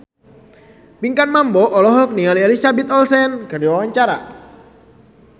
Pinkan Mambo olohok ningali Elizabeth Olsen keur diwawancara